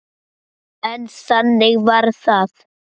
En þannig varð það.